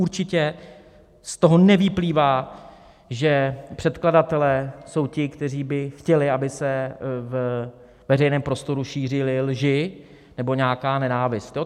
Určitě z toho nevyplývá, že předkladatelé jsou ti, kteří by chtěli, aby se ve veřejném prostoru šířily lži nebo nějaká nenávist.